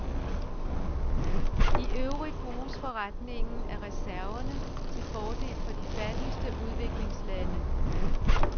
Iøvrigt bruges forrentningen af reserverne til fordel for de fattigste udviklingslande.